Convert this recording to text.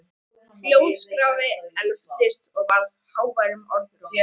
Hljóðskrafið efldist og varð að háværum orðrómi.